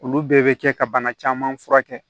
Olu bɛɛ bɛ kɛ ka bana caman furakɛ